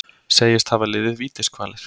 Segist hafa liðið vítiskvalir